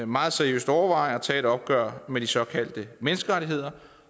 meget seriøst overveje at tage et opgør med de såkaldte menneskerettigheder